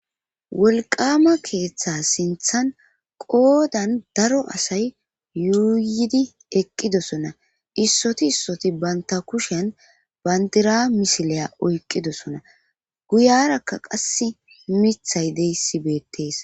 wolqama keeththe sinthan qoodan daro asay yuuyidi eqqidosona issoti issoti baynta kushen bandira misileya oyqqidosona guyarakka qasse mithay deyssibeettees